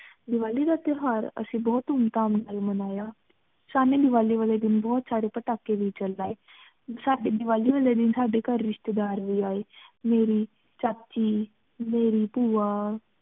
ਦਿਵਾਲੀ ਦਾ ਤੇਹ੍ਵਰ ਅੱਸੀ ਬੋਹਤ ਧੂਮ ਧਾਮ ਨਾਲ ਮਾਨ੍ਯ ਸ਼ਾਮੀ ਦਿਵਾਲੀ ਵਾਲੀ ਦਿਨ ਬੋਹਤ ਸਾਰੀ ਪਾਤਕੀ ਵੀ ਚਲਾਏ ਸਾਡੀ ਦਿਵਾਲੀ ਵਾਲੀ ਦਿਨ ਸਾਡੀ ਘਰ ਰਿਸ਼੍ਟੀ ਦਰ ਵੀ ਏ ਮੇਰੀ ਚਾਚੀ ਮੇਰੀ ਭੁਵਾ